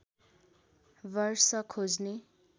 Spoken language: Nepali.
वर्ष खोज्ने